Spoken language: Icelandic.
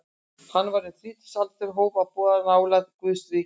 Er hann var um þrítugsaldur hóf hann að boða nálægð Guðs ríkis.